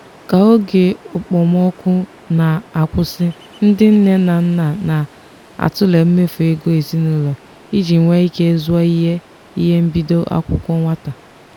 ka oge okpomọkụ na-akwụsị ndị nne na nna na-atụle mmefu ego ezinụlọ iji nwee ike zụọ ihe ihe mbido akwụkwọ nwata.